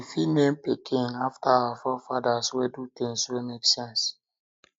we um fit name pikin after our um forefathers wey do things wey make sense